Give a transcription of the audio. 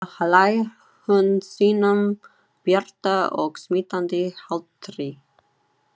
Svo hlær hún sínum bjarta og smitandi hlátri.